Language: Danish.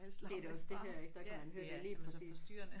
Det er det også det her ik der kan man høre det lige præcis